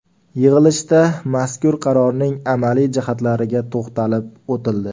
Yig‘ilishda mazkur qarorning amaliy jihatlariga to‘xtalib o‘tildi.